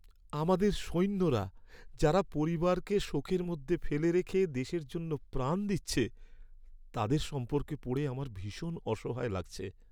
আমাদের সৈন্যরা যারা পরিবারকে শোকের মধ্যে ফেলে রেখে দেশের জন্য প্রাণ দিচ্ছে তাদের সম্পর্কে পড়ে আমার ভীষণ অসহায় লাগছে।